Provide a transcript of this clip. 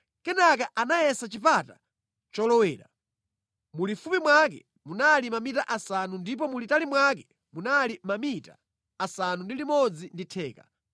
Kenaka anayeza chipata cholowera; mulifupi mwake munali mamita asanu ndipo mulitali mwake munali mamita asanu ndi limodzi ndi theka.